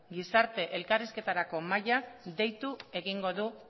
gizarte elkarrizketarako mahaiak deitu egingo du